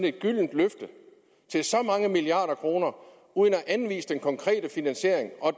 et gyldent løfte til så mange milliarder kroner uden at anvise den konkrete finansiering og